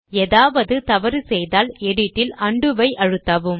ஏதாவது தவறு செய்தால் எடிட் ல் உண்டோ ஐ அழுத்தவும்